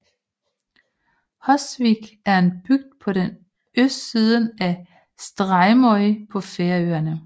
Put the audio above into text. Hósvík er en bygd på østsiden af Streymoy på Færøerne